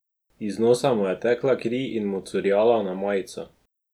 Iz nosa mu je tekla kri in mu curljala na majico.